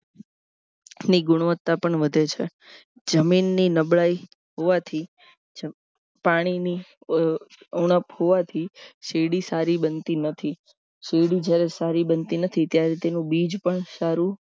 ની ગુણવત્તા પણ વધે છે જમીનની નબળાઈ હોવાથી પાણીની ઉણપ હોવાથી શેરડી સારી બનતી નથી શેરડી જ્યારે સારી બનતી નથી ત્યારે તેનું બીજ પણ સારું